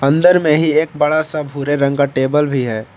अंदर में ही एक बड़ा सा भूरे रंग का टेबल भी है।